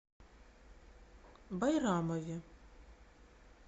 байрамове